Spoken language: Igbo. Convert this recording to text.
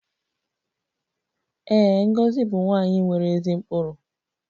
Ee, Ngozi bụ nwanyị nwere ezi ụkpụrụ